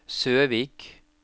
Søvik